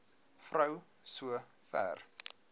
vrou so ver